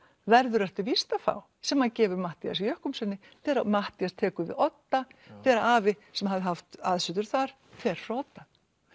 verður ertu víst að fá sem hann gefur Matthíasi þegar Matthías tekur við Odda þegar afi sem hafði haft aðsetur þar fer frá Odda